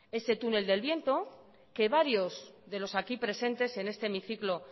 ese túnel del viento que varios de los aquí presentes en este hemiciclo